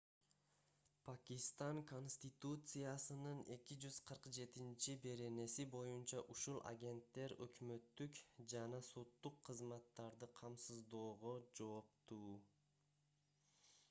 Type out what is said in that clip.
пакистан конституциясынын 247-беренеси боюнча ушул агенттер өкмөттүк жана соттук кызматтарды камсыздоого жооптуу